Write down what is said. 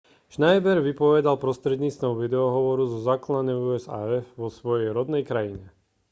schneider vypovedal prostredníctvom videohovoru zo základne usaf vo svojej rodnej krajine